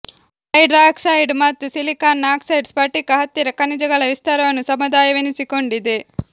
hydroxides ಮತ್ತು ಸಿಲಿಕಾನ್ನ oxide ಸ್ಫಟಿಕ ಹತ್ತಿರ ಖನಿಜಗಳ ವಿಸ್ತಾರವನ್ನು ಸಮುದಾಯವೆನಿಸಿಕೊಂಡಿದೆ